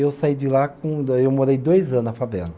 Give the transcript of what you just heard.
Eu saí de lá com, daí eu morei dois anos na favela.